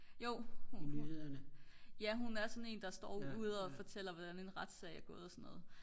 jo ja hun er sådan en der står ude og fortæller hvordan en retssag er gået og så noget